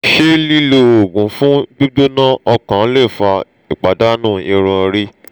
ṣe lilo oogun fun gbigbona okan le fa ipadanu irun ori?